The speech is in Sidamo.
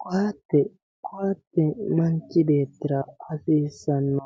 Koate. Koate manichi beetira hasiisano